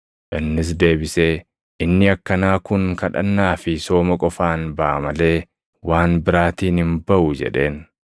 Innis deebisee, “Inni akkanaa kun kadhannaa fi sooma qofaan baʼa malee waan biraatiin hin baʼu” jedheen.